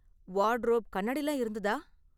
Wardrobe, கண்ணாடிலாம் இருந்ததா?